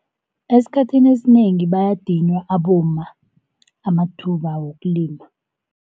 Esikhathini esinengi bayadinywa abomma amathuba wokulima.